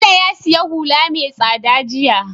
Bello ya siya hula me tsada jiya